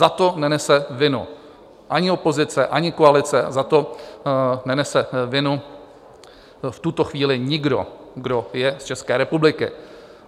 Za to nenese vinu ani opozice, ani koalice, za to nenese vinu v tuto chvíli nikdo, kdo je z České republiky.